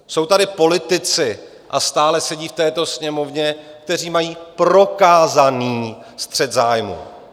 Jsou tady politici, a stále sedí v této Sněmovně, kteří mají prokázaný střet zájmů.